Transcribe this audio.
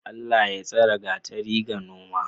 Allah Ya tsare gatari ga noma?